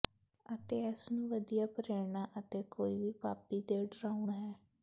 ਅਤੇ ਇਸ ਨੂੰ ਵਧੀਆ ਪ੍ਰੇਰਣਾ ਅਤੇ ਕੋਈ ਵੀ ਪਾਪੀ ਦੇ ਡਰਾਉਣ ਹੈ